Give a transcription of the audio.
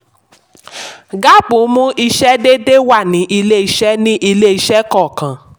gaap ń mú ìṣe déédéé wá ní ilé-ìṣẹ́ ní ilé-ìṣẹ́ kọọkan.